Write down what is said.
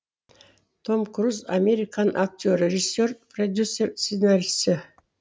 том круз американ актері режиссер продюсер сценарийші